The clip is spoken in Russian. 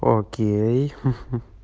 окей